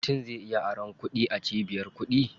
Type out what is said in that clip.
Mutum zai iya aron kuɗi a cibiyar kuɗi.